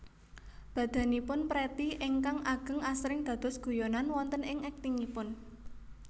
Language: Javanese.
Badanipun Pretty ingkang ageng asring dados guyonan wonten ing aktingipun